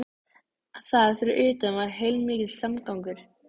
En þar fyrir utan var heilmikill samgangur.